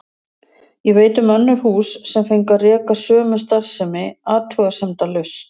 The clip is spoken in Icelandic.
Ég veit um önnur hús sem fengu að reka sömu starfsemi athugasemdalaust.